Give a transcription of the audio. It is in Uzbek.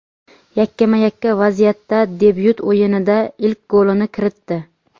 yakkama-yakka vaziyatda debyut o‘yinida ilk golini kiritdi.